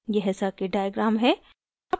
यह circuit diagram है